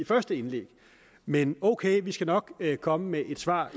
første indlæg men ok vi skal nok komme med et svar